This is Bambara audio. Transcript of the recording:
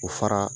O fara